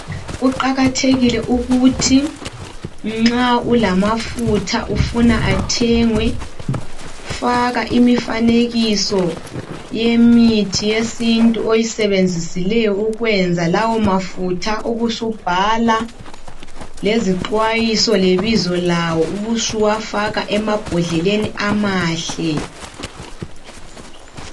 Kuqakathekile ukuthi nxa ulamafutha ufuna athengwe faka imifanekiso yemithi yesintu oyisebenzisileyo ukwenza lawomafutha ubusubhala lezixwayiso lebizo lawo ubusufaka emabhodleleni amahle.